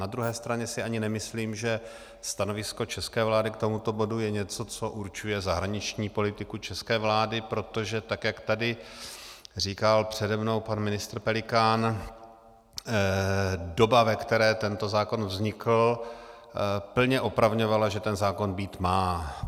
Na druhé straně si ani nemyslím, že stanovisko české vlády k tomuto bodu je něco, co určuje zahraniční politiku české vlády, protože tak jak tady říkal přede mnou pan ministr Pelikán, doba, ve které tento zákon vznikl, plně opravňovala, že ten zákon být má.